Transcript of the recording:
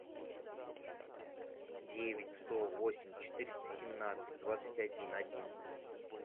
девять сто восемь четыреста семнадцать двадцать один одиннадцать